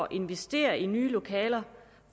investere i nye lokaler